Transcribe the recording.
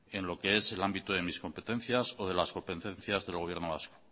en lo que es el ámbito de mis competencias o de las competencias del gobierno vasco